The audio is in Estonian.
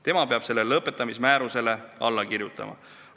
Tema peab selle lõpetamise määrusele alla kirjutama.